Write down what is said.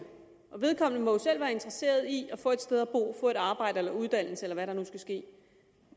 og vedkommende må jo selv være interesseret i at få et sted at bo at få et arbejde eller en uddannelse eller hvad der nu skal ske